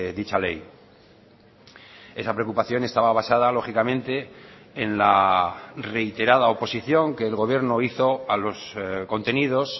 dicha ley esa preocupación estaba basada lógicamente en la reiterada oposición que el gobierno hizo a los contenidos